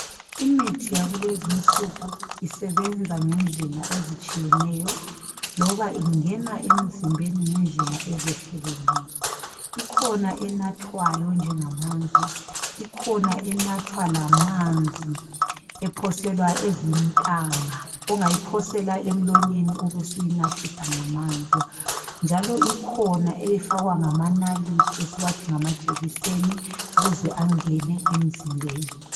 Imithi yakulezinsuku isebenza ngendlela ezitshiyeneyo loba ingena emizimbeni ngendlela ezehlukeneyo. Kukhona enathwayo njengamanzi, ikhona enathwa lamanzi ephoselwa ezintanga ongayiphosela emlonyeni ubusyinathisa ngamanzi njalo ikhona efakwa ngamanalithi esithi ngamajekiseni ukuze angene emzimbeni.